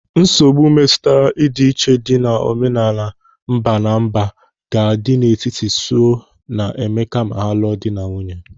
Nsogbu metụtara ọdịiche dị n'omenala mba na mba ga-adi na-etiti Sue na Emeka ma lụọ di na nwunye.